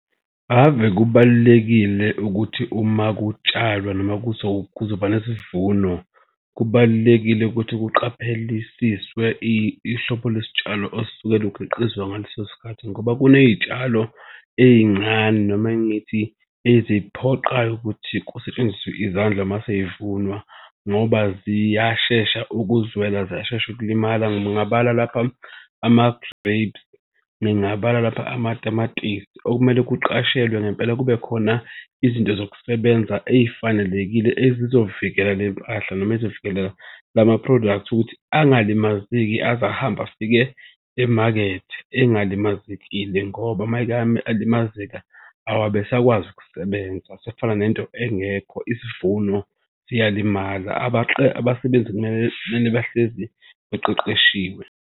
Ave kubalulekile ukuthi uma kutshalwa noma kuzoba nesivuno, kubalulekile ukuthi kuqaphelisiswe ihlobo lwesitshalo osuke lukhiqizwa ngaleso sikhathi ngoba kunezitshalo ey'ncane noma ngithi eziphoqayo ukuthi kusetshenziswe izandla uma sezivunwa ngoba ziyashesha ukuzwela ziyashesha ukulimala. Ngingabala lapha ama-grapes, ngingabala lapha amatamatisi okumele kuqashelwe ngempela kube khona izinto zokusebenza ey'fanelekile ezizovikela le mpahla noma ezovikela lama-product ukuthi angalimazeki aze ahambe afike emakethe engalimazekile ngoba mayeke alimazeka awabe esakwazi ukusebenza. Asefana nento engekho, isivuno siyalimala abasebenzi kumele kumele bahlezi baqeqeshiwe.